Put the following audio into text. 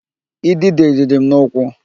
Idide rịrị m n'ụkwụ